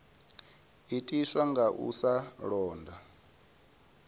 itiswa nga u sa londa